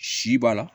Si b'a la